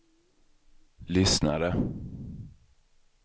lyssnade